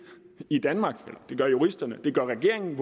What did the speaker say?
i danmark det gør juristerne og det gør regeringen